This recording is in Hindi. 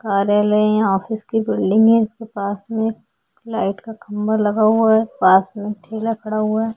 कार्यालय यहाँ ऑफिस की बिल्डिंग है इसके पास में लाइट का खंबा लगा हुआ है पास में ठेला खड़ा हुआ है।